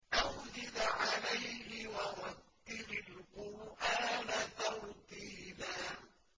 أَوْ زِدْ عَلَيْهِ وَرَتِّلِ الْقُرْآنَ تَرْتِيلًا